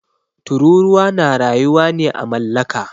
Tururuwa na rayuwa ne à mallaka.